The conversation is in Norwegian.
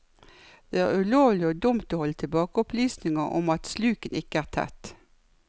Det er ulovlig og dumt å holde tilbake opplysninger om at sluket ikke er tett.